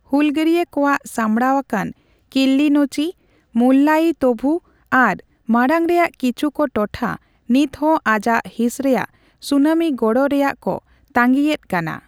ᱦᱩᱞᱜᱟᱹᱨᱤᱭᱟᱹ ᱠᱚᱣᱟᱜ ᱥᱟᱢᱲᱟᱣ ᱟᱠᱟᱱ ᱠᱤᱞᱤᱱᱳᱪᱪᱤ, ᱢᱩᱞᱞᱟᱭᱛᱤᱵᱷᱩ ᱟᱨ ᱢᱟᱲᱟᱝ ᱨᱮᱭᱟᱜ ᱠᱤᱪᱷᱩᱠ ᱴᱚᱴᱷᱟ ᱱᱤᱛ ᱦᱚᱸ ᱟᱡᱟᱜ ᱦᱤᱸᱥ ᱨᱮᱭᱟᱜ ᱥᱩᱱᱟᱢᱤ ᱜᱚᱲᱚ ᱨᱮᱭᱟᱜ ᱠᱚ ᱛᱟᱹᱜᱤ ᱮᱫ ᱠᱟᱱᱟ ᱾